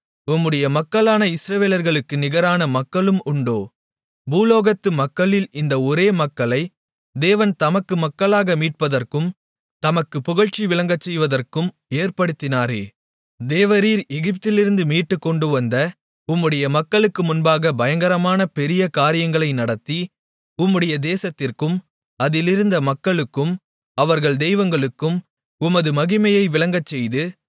உம்முடைய மக்களான இஸ்ரவேலர்களுக்கு நிகரான மக்களும் உண்டோ பூலோகத்து மக்களில் இந்த ஒரே மக்களை தேவன் தமக்கு மக்களாக மீட்பதற்கும் தமக்குப் புகழ்ச்சி விளங்கச்செய்வதற்கும் ஏற்படுத்தினாரே தேவரீர் எகிப்திலிருந்து மீட்டுக் கொண்டுவந்த உம்முடைய மக்களுக்கு முன்பாகப் பயங்கரமான பெரிய காரியங்களை நடத்தி உம்முடைய தேசத்திற்கும் அதிலிருந்த மக்களுக்கும் அவர்கள் தெய்வங்களுக்கும் உமது மகிமையை விளங்கச்செய்து